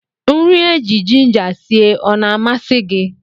Nri éjị Jinja sie ọ na-amasi gị?